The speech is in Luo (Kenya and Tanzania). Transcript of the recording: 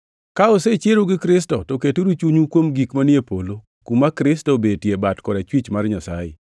Ka osechieru gi Kristo, to keturu chunyu kuom gik manie polo, kuma Kristo obetie e bat korachwich mar Nyasaye.